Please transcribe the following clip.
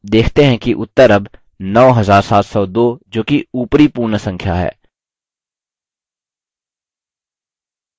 आप देखते हैं कि उत्तर अब 9702 जोकि ऊपरी पूर्ण संख्या है